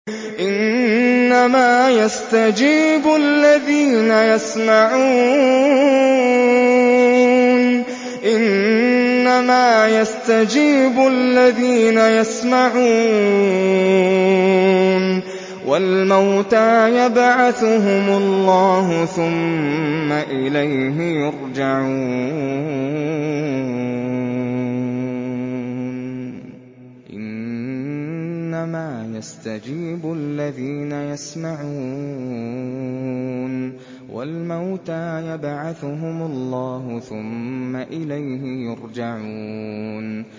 ۞ إِنَّمَا يَسْتَجِيبُ الَّذِينَ يَسْمَعُونَ ۘ وَالْمَوْتَىٰ يَبْعَثُهُمُ اللَّهُ ثُمَّ إِلَيْهِ يُرْجَعُونَ